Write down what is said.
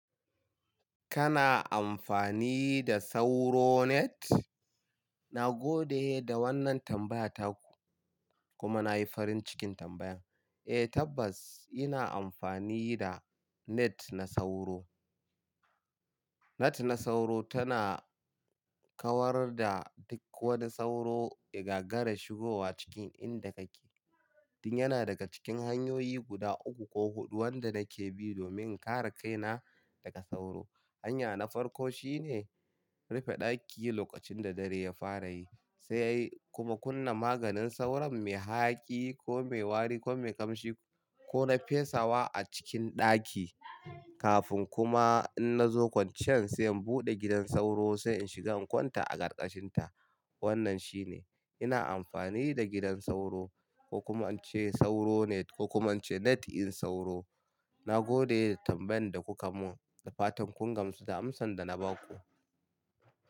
Kana amfani da sauro net? Na gode da wannan tambaya taku kuma na yi farin cikin tambayan. Eh tabbas ina amfani da net na sauro. Net na sauro tana kawar da duk wani sauro igagara shigowa cikin inda kake. Tun yana daga cikin hanyoyi guda uku ko huɗu wanda nake bi domin in kare kaina daga sauro. Hanya na farko shine rufe ɗaki lokacin da dare ya fara yi sai kuma kunna maganin sauron mai hayaki, ko mai wari, ko mai ƙamshi, ko nafesawa a cikin ɗaki. Kafin kuma in na zo kwanciyan sai in buɗe gidan sauro sai in shiga in kwanta a ƙarƙashin ta. Wannan shi ne ina amfani da gidan sauro ko kuma in ce sauro net ko kuma an ce net in sauro. Na gode da tambayan da kuka mun da fatan kun gamsu da amsan da na baku.